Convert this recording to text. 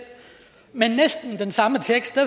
men næsten med den samme tekst og